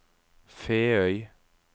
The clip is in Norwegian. Feøy